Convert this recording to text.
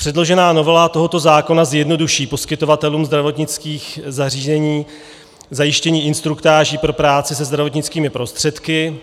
Předložená novela tohoto zákona zjednoduší poskytovatelům zdravotnických zařízení zajištění instruktáží pro práci se zdravotnickými prostředky.